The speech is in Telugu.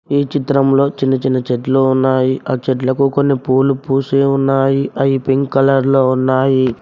ఈ చిత్రంలో చిన్న చిన్న చెట్లు ఉన్నాయి ఆ చెట్లకు కొన్ని పూలు పూసే ఉన్నాయి అవి పింక్ కలర్ లో ఉన్నాయి.